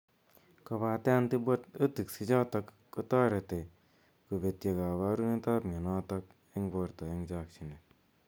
kopate antibiotics ichokot kotarete kopetya kaparunet ap mianotok eng porto eng chakchinet